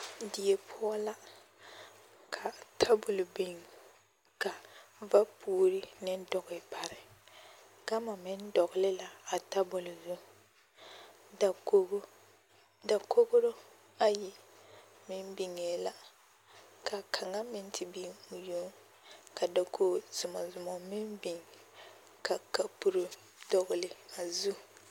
Die poɔ la ka tabol biŋ ka vapuuri ne doge pare, gama meŋ dogele la a tabol zu, dakogi, dakogiro ayi meŋ biŋaa la ka kaŋa meŋ te biŋ o yoŋ, ka dakogi zomɔ zomɔ meŋ biŋ ka kapuro dɔgele a zu.